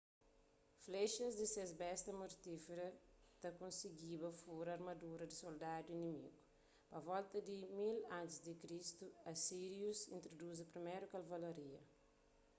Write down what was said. flexas di ses besta mortíferu ta kosigiba furaa armadura di soldadus inimígu pa volta di 1000 a.c. asírius intruduzi priméru kavalaria